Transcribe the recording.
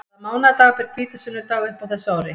Hvaða mánaðardag ber hvítasunnudag upp á þessu ári?